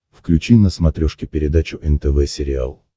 включи на смотрешке передачу нтв сериал